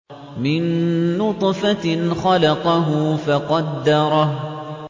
مِن نُّطْفَةٍ خَلَقَهُ فَقَدَّرَهُ